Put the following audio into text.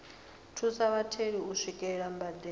thusa vhatheli u swikelela mbadelo